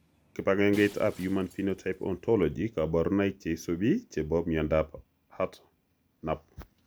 Konu kibagengeitab human phenotype ontology kaborunoik cheisubi chebo miondop hartnup.